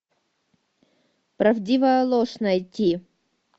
правдивая ложь найти